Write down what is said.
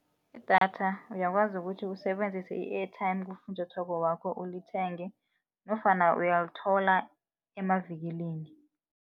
Idatha uyakwazi ukuthi usebenzise i-airtime kufunjathwako wakho ulithenge nofana uyalithola emavikilini.